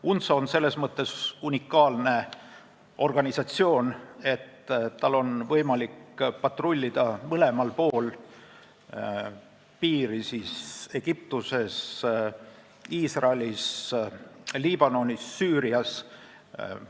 UNTSO on selles mõttes unikaalne organisatsioon, et tal on võimalik patrullida Egiptuses, Iisraelis, Liibanonis ja Süürias mõlemal pool piiri.